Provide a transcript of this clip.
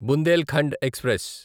Bundelkhand express